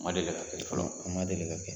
O ma deli ka kɛ fɔlɔ, a ma deli de ka kɛ.